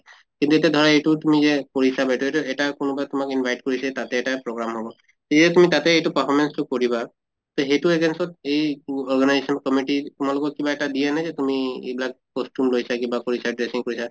এইটো এটা ধৰা এইটো তুমি যে কৰিছা এটা কোনোবা তোমাক invite কৰিছে তাতে এটা program হʼব । ইয়ে তুমি তাতে এইটো performance তো কৰিবা তʼ সেইটো against ত এই তু organization committee তোমালোকক কিবা এটা দিয়ে নে তুমি এইবিলাক costume লৈছা কিবা কৰিছা dressing কৰিছা